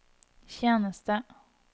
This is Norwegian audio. tjeneste